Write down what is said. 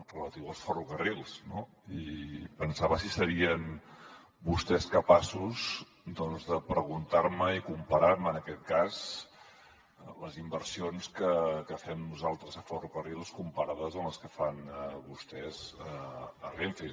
relativa als ferrocarrils no i pensava si serien vostès capaços doncs de preguntar me i comparar me en aquest cas les inversions que fem nosaltres a ferrocarrils comparades amb les que van vostès a renfe